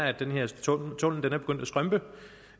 at den her tunnel